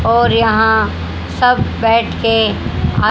और यहां सब बैठके आ--